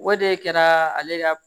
O de kɛra ale ka